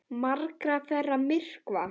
Margar þeirra myrkva.